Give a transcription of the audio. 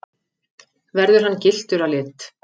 Verður hann gylltur að lit